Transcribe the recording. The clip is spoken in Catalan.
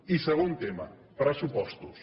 i segon tema pressupostos